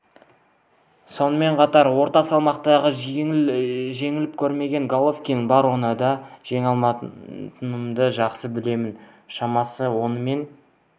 сонымен қатар орта салмақта жеңіліп көрмеген головкин бар оны да жеңе алатынымды жақсы білемін шамасы онымен